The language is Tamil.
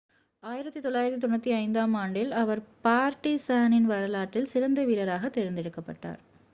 1995-ஆம் ஆண்டில் அவர் பார்ட்டிசானின் வரலாற்றில் சிறந்த வீரராகத் தேர்ந்தெடுக்கப்பட்டார்